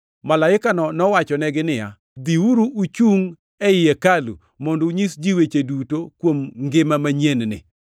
Malaikano nowachonegi niya, “Dhiuru uchungʼ ei hekalu mondo unyis ji weche duto kuom ngima manyien-ni.”